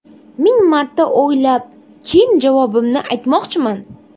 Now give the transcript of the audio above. Ming marta o‘ylab, keyin javobimni aytmoqchiman.